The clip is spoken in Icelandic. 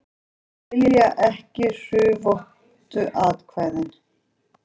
Skilja ekki hrufóttu atkvæðin